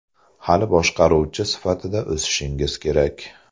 Hali boshqaruvchi sifatida o‘sishingiz kerak.